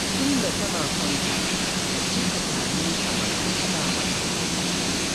Tunda kana son ta, ka je ka same ta mana ka faɗa mata